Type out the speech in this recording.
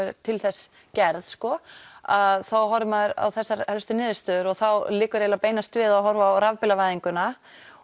til þess gerð að þá horfir maður á þessar helstu niðurstöður og þá liggur eiginlega beinast við að horfa á rafbílavæðinguna